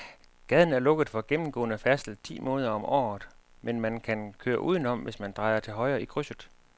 Gaden er lukket for gennemgående færdsel ti måneder om året, men man kan køre udenom, hvis man drejer til højre i krydset.